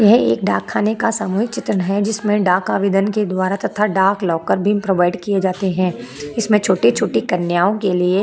यह एक डाकखाने का सामूहिक चित्रन है जिसमें डाक आवेदन के द्वारा तथा डाक लाकर भी प्रोवाइड किए जाते है इसमें छोटे-छोटे कन्याओं के लिए--